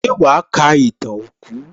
Ṣé wàá ka ìtàn òkú?